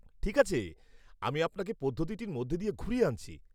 ঠিক আছে, আমি আপনাকে পদ্ধতিটির মধ্যে দিয়ে ঘুরিয়ে আনছি।